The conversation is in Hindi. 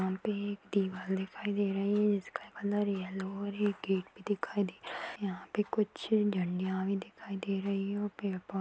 यहाँ पे एक दीवाल दिखाई दे रही है | जिसका कलर येल्लो और एक गेट भी दिखाई दे रहा है और यहाँ पे कुछ डंडियाँ भी दिखाई दे रही है और पेड़ पौधे --